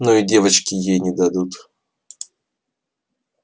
ну и девочки ей не дадут